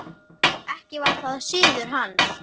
Ekki var það siður hans.